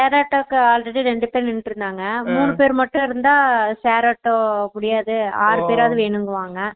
share ஆட்டோக்கு already ரெண்டு பேரு நின்னுட்டு இருந்தாங்க மூணு பேர் மட்டும் இருந்த share ஆட்டோ முடியாது ஆறு பேர்ஆவாது வேணும்பாங்க